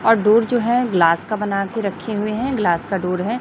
और डोर जो है ग्लास का बनाकर रखे हुए है ग्लास का डोर है।